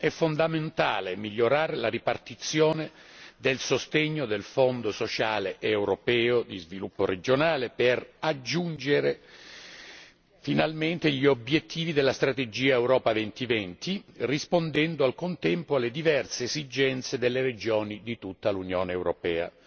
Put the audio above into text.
È fondamentale migliorare la ripartizione del sostegno del Fondo europeo di sviluppo regionale per aggiungere finalmente gli obiettivi della strategia Europa 2020, rispondendo al contempo alle diverse esigenze delle regioni di tutta l'Unione europea.